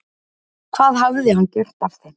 Hvað hafði hann gert af þeim?